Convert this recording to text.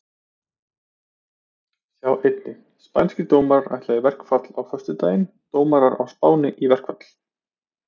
Sjá einnig: Spænskir dómarar ætla í verkfall á föstudag Dómarar á Spáni í verkfall?